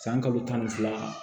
San kalo tan ni fila